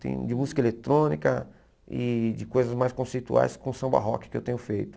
Tem de música eletrônica e de coisas mais conceituais com samba rock que eu tenho feito.